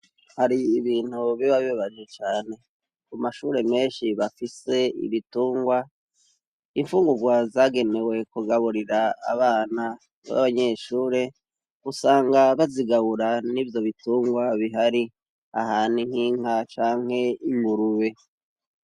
Hari ibintu biba bibabaje cane. Ku mashuri menshi bafise ibitungwa, imfungurwa zagemewe kugaburira abana b'abanyeshuri usanga bazigabura n'ivyo bitungwa bihari. Aha ni nk'inka canke ingurube.